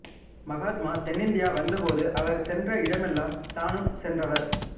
மகாத்மா தென்னிந்தியா வந்தபோது அவர் சென்ற இடமெல்லாம் தானும் சென்றவர்